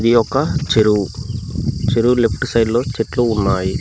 ఇది ఒక చెరువు చెరువు లెఫ్ట్ సైడ్ లో చెట్లు ఉన్నాయి.